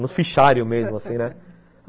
Nos fichários mesmo, assim, né?